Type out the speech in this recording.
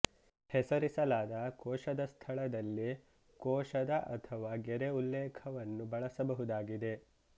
ಹೆಸರಿಸಲಾದ ಕೋಶದ ಸ್ಥಳದಲ್ಲಿ ಕೋಶದ ಅಥವಾ ಗೆರೆ ಉಲ್ಲೇಖಕವನ್ನು ಬಳಸಬಹುದಾಗಿದೆ